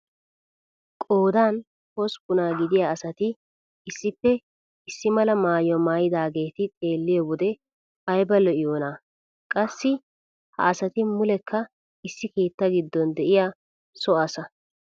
Qoodan hosppunaa gidiyaa asati issippe issi mala mayuwaa maayidaageti xeelliyoo wode ayba lo"iyoonaa! qassi ha asati muleekka issi keettaa giddon de'iyaa so asa.